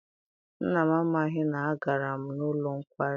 Nna m amaghị na agara m n'ụlọ nkwari.